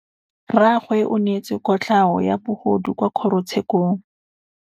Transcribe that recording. Rragwe o neetswe kotlhaô ya bogodu kwa kgoro tshêkêlông.